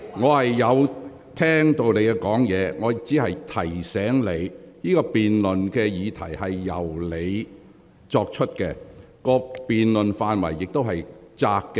我有聆聽你的發言。我只是提醒你，這項議案由你提出，而辯論範圍頗為狹窄。